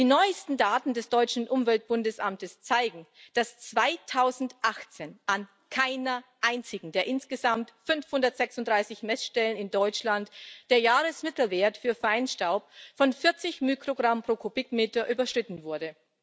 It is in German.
Die neuesten Daten des deutschen Umweltbundesamtes zeigen, dass 2018 an keiner einzigen der insgesamt 536 Messstellen in Deutschland der Jahresmittelwert für Feinstaub von 40 Mikrogramm pro Kubikmeter überschritten wurde.